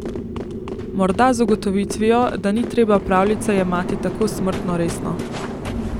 Morda z ugotovitvijo, da ni treba pravljice jemati tako smrtno resno.